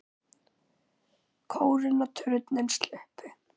Kórinn og turninn sluppu.